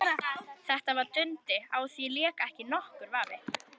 Þetta var Dundi, á því lék ekki nokkur vafi.